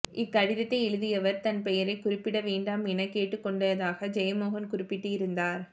இக்கடிதத்தை எழுதியவர் தன் பெயரைக் குறிப்பிட வேண்டாம் எனக் கேட்டுக்கொண்டதாக ஜெயமோகன் குறிப்பிட்டிருந்தார்